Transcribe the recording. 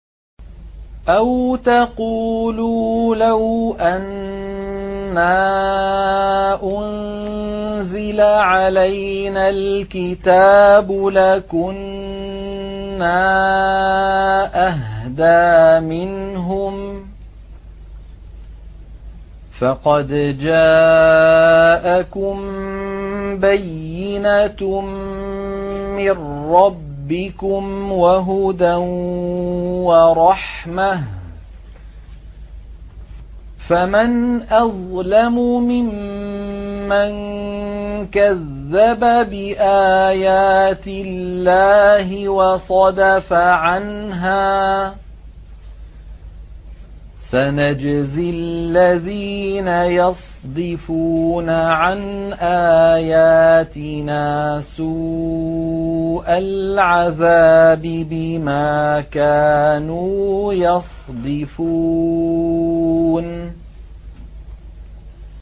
أَوْ تَقُولُوا لَوْ أَنَّا أُنزِلَ عَلَيْنَا الْكِتَابُ لَكُنَّا أَهْدَىٰ مِنْهُمْ ۚ فَقَدْ جَاءَكُم بَيِّنَةٌ مِّن رَّبِّكُمْ وَهُدًى وَرَحْمَةٌ ۚ فَمَنْ أَظْلَمُ مِمَّن كَذَّبَ بِآيَاتِ اللَّهِ وَصَدَفَ عَنْهَا ۗ سَنَجْزِي الَّذِينَ يَصْدِفُونَ عَنْ آيَاتِنَا سُوءَ الْعَذَابِ بِمَا كَانُوا يَصْدِفُونَ